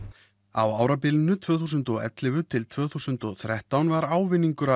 á árunum tvö þúsund og ellefu til tvö þúsund og þrettán var ávinningur